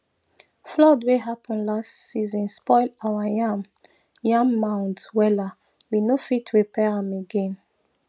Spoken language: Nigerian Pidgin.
flood wey happen last season spoil our yam yam mounds wella we no fit repair am again